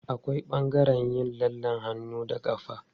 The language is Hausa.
Akwai ɓangaren yin lallen hannu da ƙafa.